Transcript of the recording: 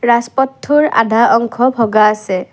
ৰাজপথটোৰ আধা অংশ ভগা আছে।